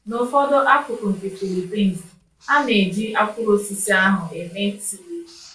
N’ụfọdụ akụkụ nke Philippines, a na-eji akwụrụ osisi ahụ eme tii.